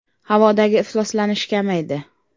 “Havodagi ifloslanish kamaydi.